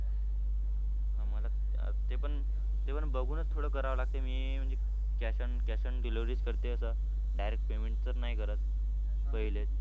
हां मला ते पण ते पण बघूनच थोडं करावं लागतंय. मी म्हणजे cash on cash on delivery च करते आता. Direct payment तर नाही करत पहिले.